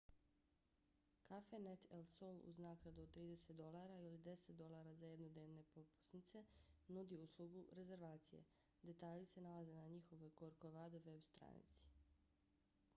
cafenet el sol uz naknadu od 30 $ ili 10 $ za jednodnevne propusnice nudi uslugu rezervacije. detalji se nalaze na njihovoj corcovado veb-stranici